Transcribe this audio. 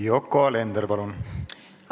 Yoko Alender, palun!